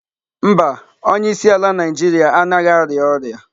Mba, onyeisiala Naijiria anaghị arịa ọrịa.